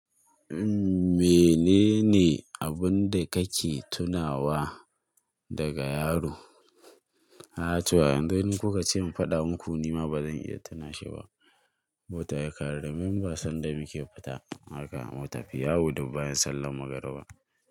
Umm, menene abun da kake tunawa daga yaro? Ah to, yanzu in kuka ce in faɗa muku nima ba zan iya tunashe ba. Wata yakare, domin wasna da muke fita haka, mutafi yawo dubbaya sallar magariba.